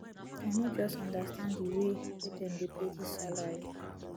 i no just understand di way wey dem dey pay dis salary